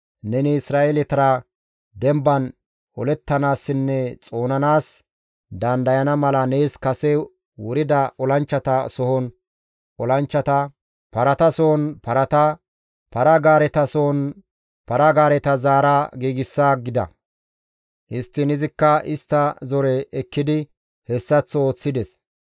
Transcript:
Nuni Isra7eeletara demban olettanaassinne xoonanaas dandayana mala nees kase wurida olanchchata sohon olanchchata, parata sohon parata, para-gaareta sohon para-gaareta zaara giigsa» gida. Histtiin izikka istta zoreza ekkidi hessaththo ooththides.